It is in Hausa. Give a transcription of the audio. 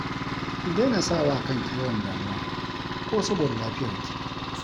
Ki dai na sawa kanki yawan damuwa ko saboda lafiyarki